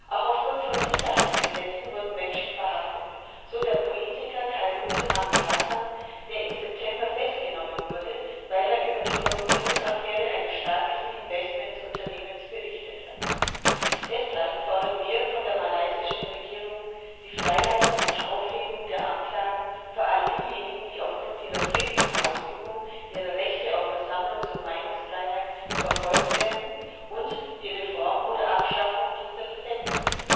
Auch aufgrund von Sicherheitsgesetzen wurden Menschen verhaftet, so der Politiker Khairuddin Abu Hassan, der im September festgenommen wurde, weil er über die Korruptionsaffäre eines staatlichen Investments Unternehmens berichtet hat. Deshalb fordern wir von der malaysischen Regierung die Freilassung und Aufhebung der Anklagen für all diejenigen, die aufgrund ihrer friedlichen Ausübung ihrer Rechte auf Versammlungs und Meinungsfreiheit verfolgt werden und die Reform oder Abschaffung dieser Gesetzen.